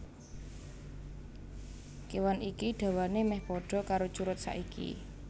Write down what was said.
Kéwan iki dawané mèh padha karo curut saiki